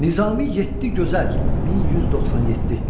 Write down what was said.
Nizami Yeddi Gözəl 1197.